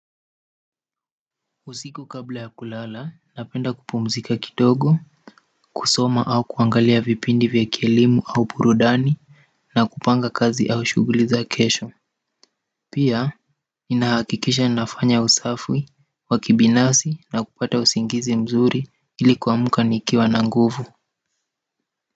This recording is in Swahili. Usiku kabla ya kulala, napenda kupumzika kidogo, kusoma au kuangalia vipindi vya kielimu au burudani na kupanga kazi au shughuli za kesho pia, ninahakikisha nafanya usafi, wa kibinafsi na kupata usingizi mzuri ili kuamka nikiwa na nguvu.